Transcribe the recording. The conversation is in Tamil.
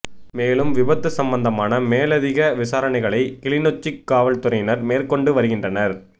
மேலும் விபத்து சம்பந்தமான மேலதிக விசாரணைகளை கிளிநொச்சி காவல்துறையினர் மேற்கொண்டு வருகின்றனர்